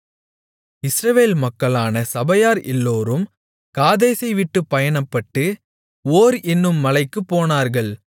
இஸ்ரவேல் மக்களான சபையார் எல்லோரும் காதேசை விட்டுப் பயணப்பட்டு ஓர் என்னும் மலைக்குப் போனார்கள்